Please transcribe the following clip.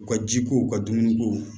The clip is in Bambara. U ka jiko u ka dumuni kow